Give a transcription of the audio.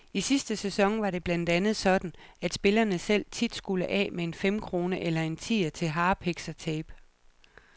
I sidste sæson var det blandt andet sådan, at spillerne selv tit skulle af med en femkrone eller en tier til harpiks og tape.